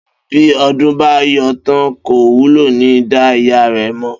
Bí O̩dún bá yó tán, kò wulè̩ ní dá ìyá rè̩ mò̩